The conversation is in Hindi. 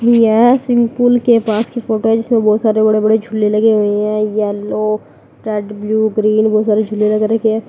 यह स्विमिंग पूल के पास की फोटो इसमें बहुत सारे बड़े बड़े झूले लगे हुए हैं येलो रेड ब्ल्यू ग्रीन बहुत सारे झूले लग रखे हैं।